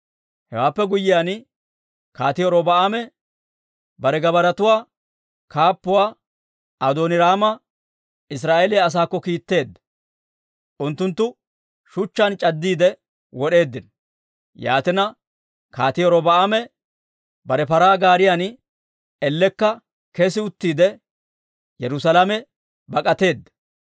Hewaappe guyyiyaan Kaatii Robi'aame bare gabbaaratuwaa kaappuwaa Adooniraama Israa'eeliyaa asaakko kiitteedda; unttunttu shuchchaan c'addiide wod'eeddino. Yaatina, Kaatii Robi'aame bare paraa gaariyan ellekka kes uttiide, Yerusaalame bak'ateedda.